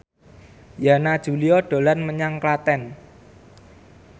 Yana Julio dolan menyang Klaten